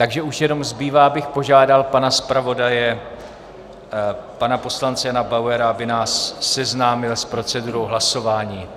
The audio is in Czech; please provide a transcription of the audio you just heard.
Takže už jenom zbývá, abych požádal pana zpravodaje pana poslance Jana Bauera, aby nás seznámil s procedurou hlasování.